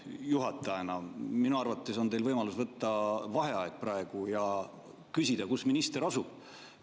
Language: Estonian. Juhatajana minu arvates on teil võimalus võtta praegu vaheaeg ja küsida, kus minister asub.